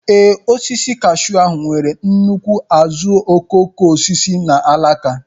Ee, osisi kashụ ahụ nwere nnukwu azuokokoosisi na alaka.